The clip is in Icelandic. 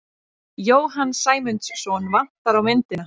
Jóhann Sæmundsson vantar á myndina.